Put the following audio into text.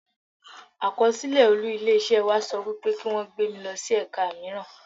Àkọsílẹ̀ olú ilé iṣẹ́ wa sọ wípé kí wón gbé mi lọ sí ẹ̀ka míràn.